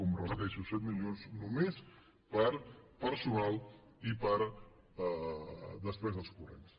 ho repeteixo set milions només per a personal i per a despeses corrents